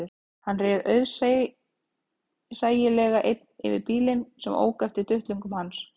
Hann réð auðsæilega einn yfir bílnum sem ók eftir duttlungum hans